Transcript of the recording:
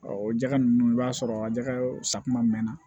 o jɛgɛ ninnu i b'a sɔrɔ a jɛgɛ safunɛ mɛn na